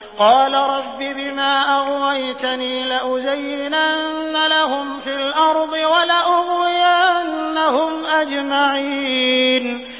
قَالَ رَبِّ بِمَا أَغْوَيْتَنِي لَأُزَيِّنَنَّ لَهُمْ فِي الْأَرْضِ وَلَأُغْوِيَنَّهُمْ أَجْمَعِينَ